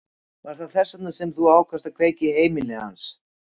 Var það þess vegna sem þú ákvaðst að kveikja í heimili hans?